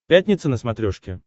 пятница на смотрешке